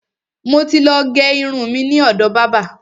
Mo ti ló gé irun mi ni ọ̀dọ̀ bábà.